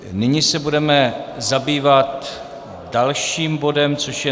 Nyní se budeme zabývat dalším bodem, což je